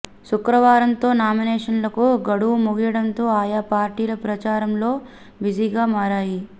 శుక్రవారంతో నామినేషన్లకు గడువు ముగియడంతో ఆయా పార్టీలు ప్రచారంలో బిజీగా మారాయి